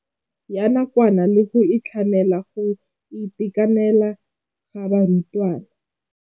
Ya nakwana le go tlamela go itekanela ga barutwana.